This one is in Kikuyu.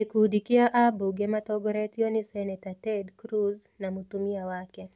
Gĩkundi kĩa abunge matongoretio nĩ Senator Ted Cruz na Mũtumia wake.